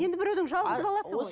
енді біреудің жалғыз баласы ғой